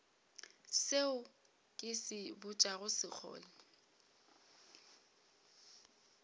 seo ke se botšago sekgole